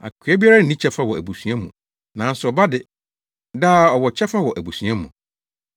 Akoa biara nni kyɛfa wɔ abusua mu nanso ɔba de, daa ɔwɔ kyɛfa wɔ abusua mu.